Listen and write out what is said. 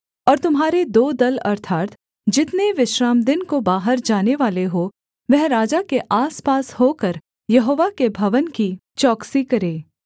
और तुम्हारे दो दल अर्थात् जितने विश्रामदिन को बाहर जानेवाले हों वह राजा के आसपास होकर यहोवा के भवन की चौकसी करें